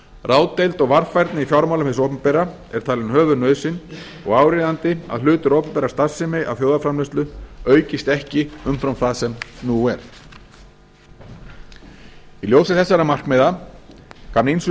ráðdeild og varfærni í fjármálum hins opinbera er talin höfuðnauðsyn og áríðandi að hlutur opinberrar starfsemi af þjóðarframleiðslunni aukist ekki umfram það sem nú er í ljósi þessara markmiða kann ýmsum